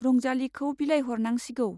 रंजालीखौ बिलाइहरनांसिगौ।